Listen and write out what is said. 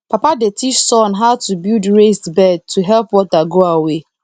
papa dey teach son how to build raised bed to help water go away